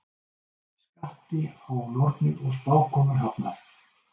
Skatti á nornir og spákonur hafnað